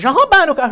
Já roubaram o carro.